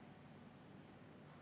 Ei.